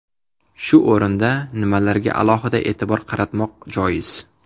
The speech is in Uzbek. Shu o‘rinda, nimalarga alohida e’tibor qaratmoq joiz?